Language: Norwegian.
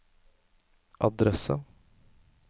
adresse